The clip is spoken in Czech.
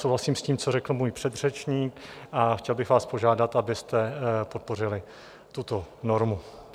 Souhlasím s tím, co řekl můj předřečník, a chtěl bych vás požádat, abyste podpořili tuto normu.